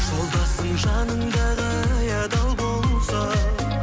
жолдасың жаныңдағы ай адал болса